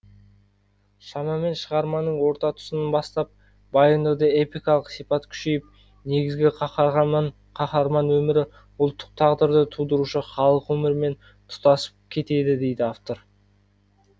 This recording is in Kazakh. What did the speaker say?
шамамен шығарманың орта тұсынан бастап баяндауда эпикалық сипат күшейіп негізгі қаһарман өмірі ұлттық тағдырды тудырушы халық өмірімен тұтасып кетеді дейді автор